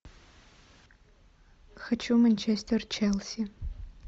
хочу манчестер челси